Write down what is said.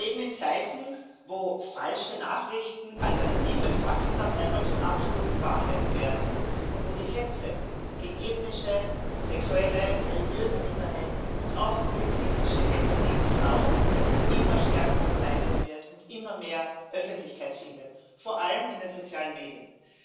Wir leben in Zeiten, in denen falsche Nachrichten, alternative Fakten auf einmal zu absoluten Wahrheiten werden und in denen die Hetze gegen ethnische, sexuelle, religiöse Minderheiten und auch sexistische Hetze gegen Frauen immer stärker verbreitet wird und immer mehr Öffentlichkeit findet, vor allem in den sozialen Medien.